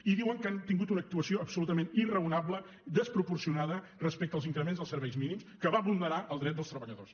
i diuen que han tingut una actuació absolutament irracional desproporcionada respecte als increments dels serveis mínims que va vulnerar el dret dels treballadors